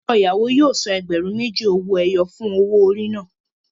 Ọkọ ìyàwó yóò san ẹgbẹ̀rún méjì owó ẹyọ fún owó orí náà.